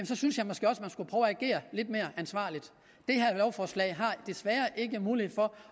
så synes jeg måske også man skulle prøve at agere lidt mere ansvarligt det her lovforslag har desværre ikke mulighed for